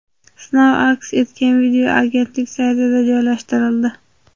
Sinov aks etgan video agentlik saytida joylashtirildi .